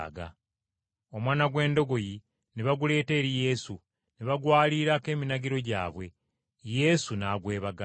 Omwana gw’endogoyi ne baguleeta eri Yesu, ne bagwaliirako eminagiro gyabwe, Yesu n’agwebagala.